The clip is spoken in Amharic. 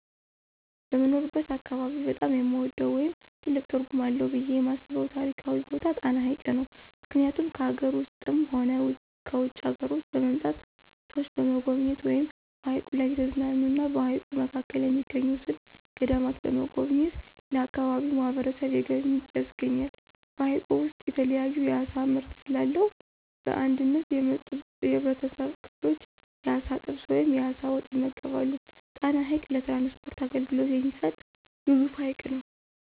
በምኖርበት አካባቢ በጣም የምወደው ወይም ትልቅ ትርጉም አለው ብየ የማስበው ታሪካዊ ቦታ ጣና ሀይቅ ነው። ምክኒያቱም ከአገር ውስጥም ሆነ ከውጭ አገሮች በመምጣት ሰዎች በመጎብኘት ወይም በሀይቁ ላይ እየተዝናኑ እና በሀይቁ መካከል የሚገኙትን ገዳማት በመጎብኘት ለአካባቢው ማህበረሰብ የገቢ ምንጭ ያስገኛል። በሀይቁ ውስጥ የተለያዩ የአሳ ምርት ስለአለው በእንግድነት የመጡ የህብረተሰብ ክፍሎች የአሳ ጥብስ ወይም የአሳ ወጥ ይመገባሉ። ጣና ሀይቅ ለትራንስፖርት አገልግሎት የሚሰጥ ግዙፍ ሀይቅ ነው።